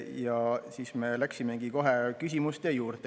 Ja siis me läksime kohe küsimuste juurde.